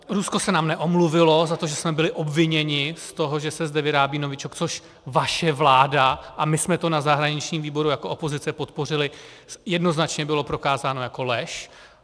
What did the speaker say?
Rusko se nám neomluvilo za to, že jsme byli obviněni z toho, že se zde vyrábí novičok, což vaše vláda, a my jsme to na zahraničním výboru jako opozice podpořili, jednoznačně bylo prokázáno jako lež.